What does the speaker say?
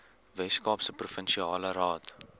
weskaapse provinsiale raad